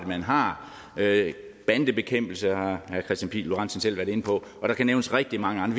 man har bandebekæmpelse har herre kristian pihl lorentzen selv været inde på og der kan nævnes rigtig mange